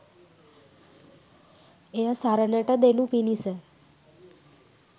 එය සරණට දෙනු පිණිස